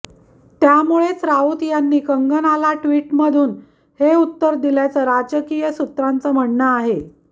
त्यामुळेच राऊत यांनी कंगनाला ट्विटमधून हे उत्तर दिल्याचं राजकीय सूत्रांचं म्हणणं आहे